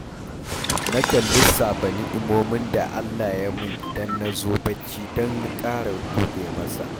Nakan lissafa ni'imomin da Allah ya yi min idan na zo bacci don na ƙara gode masa